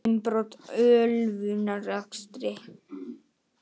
Innbrot og ölvunarakstur